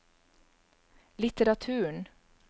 litteraturen